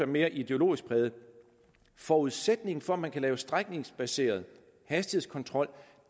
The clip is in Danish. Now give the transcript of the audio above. mere ideologisk præget er at forudsætningen for at man kan lave strækningsbaseret hastighedskontrol